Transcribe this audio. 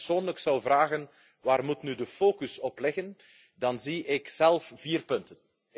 Als u mij persoonlijk zou vragen waarop nu de focus moet liggen, dan zie ik zelf vier punten.